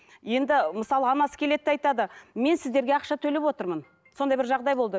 енді мысалы анасы келеді да айтады мен сіздерге ақша төлеп отырмын сондай бір жағдай болды